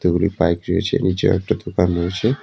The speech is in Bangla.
বাইক রয়েছে নীচে একটা দোকান রয়েছে